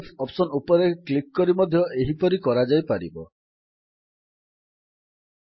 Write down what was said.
file option ଉପରେ click କରି export as PDF option ଉପରେ କ୍ଲିକ୍ କରି ମଧ୍ୟ ଏହିପରି କରାଯାଇପାରିବ